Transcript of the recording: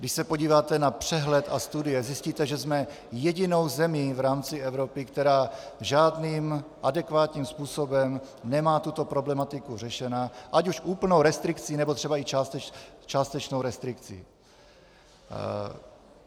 Když se podíváte na přehled a studie, zjistíte, že jsme jedinou zemí v rámci Evropy, která žádným adekvátním způsobem nemá tuto problematiku řešenu, ať už úplnou restrikcí, nebo třeba i částečnou restrikcí.